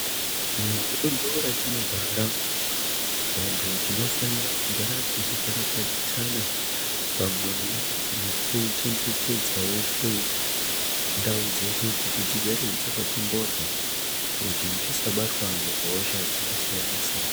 Muduntu ratinogara, vantu tinofanira kugara tichikarakadzisana pamwe nekuchengetedzavo kwendau dzedu kuti dzigare dzakati mbodhloo kuti tisabatwa nehosha dzakasiyana- siyana.